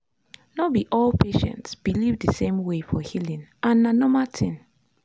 no be all patients believe the same way for healing — and na normal thing.